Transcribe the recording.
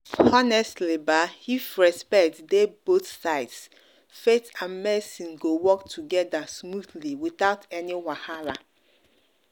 honestly ba if respect dey both sides faith and medicine go work together smoothly without any wahala.